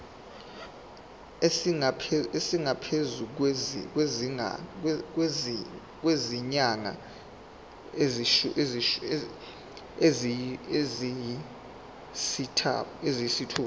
esingaphezu kwezinyanga eziyisithupha